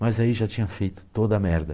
Mas aí já tinha feito toda a merda.